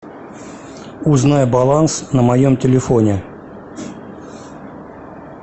узнай баланс на моем телефоне